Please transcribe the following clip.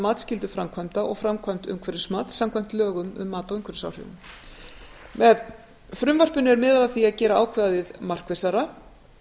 matsskyldu framkvæmda og framkvæmd umhverfismats samkvæmt lögum um mat á umhverfisáhrifum með frumvarpinu er miðað að því að gera ákvæðið markvissara